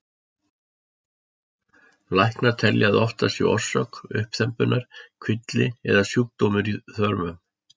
Læknar telja að oftast sé orsök uppþembunnar kvilli eða sjúkdómur í þörmum.